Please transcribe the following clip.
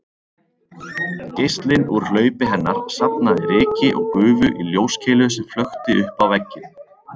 Geislinn úr hlaupi hennar safnaði ryki og gufu í ljóskeilu sem flökti uppá vegginn